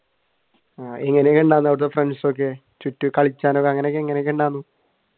എങ്ങനയൊക്കെയുണ്ടായിരുന്നു അവിടത്തെ friends ഒക്കെ ചുറ്റി കളിച്ചാനും അങ്ങനെയൊക്കെ എങ്ങനെയുണ്ടായിരുന്നു?